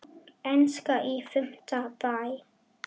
Enska í fimmta bé.